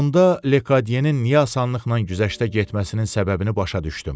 Onda Lekatyenin niyə asanlıqla güzəştə getməsinin səbəbini başa düşdüm.